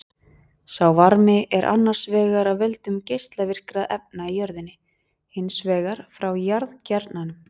Sá varmi er annars vegar af völdum geislavirkra efna í jörðinni, hins vegar frá jarðkjarnanum.